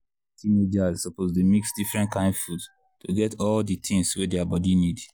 teenagers suppose dey mix different kain food to get all the things wey their body need.